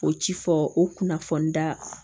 O ci fɔ o kunnafoni da